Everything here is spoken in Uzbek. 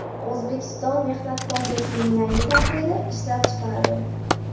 O‘zbekiston Mehnat kodeksining yangi tahriri ishlab chiqiladi.